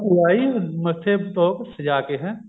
ਭੂਆ ਆਈ ਮੱਥੇ ਪੋਕ ਸਜਾ ਕੇ ਹੈਂ